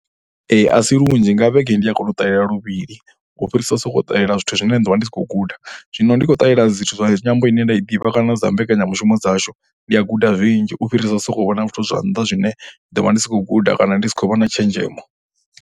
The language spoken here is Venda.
A si lunzhi nga vhege ndi a kona u ṱalela luvhili u fhirisa u sokou ṱalela zwithu zwine ndi ḓo vha ndi sa khou guda. Zwino ndi khou ṱalela zwithu zwa nyambo ine nda i ḓivha kana dza mbekanyamushumo dzashu ndi a guda zwinzhi u fhirisa sokou vhona zwithu zwa nnḓa zwine nda vha ndi si khou guda kana ndi si khou vha na tshenzhemo.